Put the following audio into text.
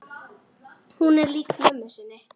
Hún er lík mömmu sinni.